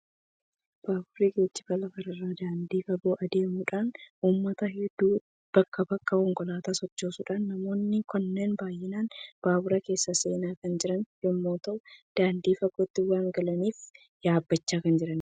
Baaburri geejjiba lafa irraa daandii fagoo adeemuudhaan uummata hedduu bakkaa bakkatti konkolaataa sochoosudha. Namoonni kunneen baay'inaan baabura keessa seenaa kan jiran yommuu ta'u, daandii fagootti waan galaniif yaabbachaa kan jiranidha.